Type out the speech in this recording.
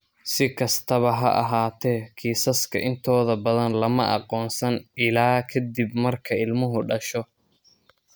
Si kastaba ha ahaatee, kiisaska intooda badan lama aqoonsan ilaa ka dib marka ilmuhu dhasho.